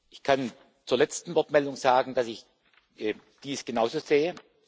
Ich kann zur letzten Wortmeldung sagen, dass ich eben dies genauso sehe.